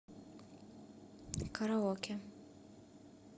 караоке